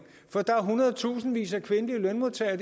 for der er i hundredetusindvis af kvindelige lønmodtagere